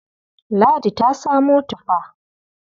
Ladi ta samo tufa.